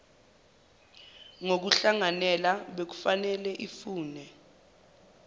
yokuhlanganela bekufanele ifune